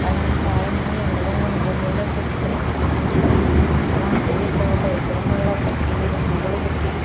అలాంటి ఆయన్ని ఎన్నడూ మన గుండెల్లో పెట్టుకొని పూజించాలి అలాంటిది ఎక్కడ ఒక విగ్రహం ల పెట్టి పువ్వులు పెట్టి --